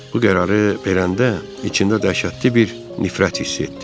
Bu qərarı verəndə içində dəhşətli bir nifrət hiss etdi.